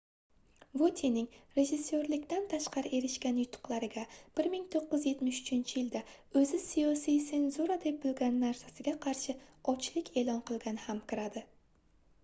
votyening rejissyorlikdan tashqari erishgan yutuqlariga 1973-yilda oʻzi siyosiy senzura deb bilgan narsasiga qarshi ochlik eʼlon qilgani ham kiradi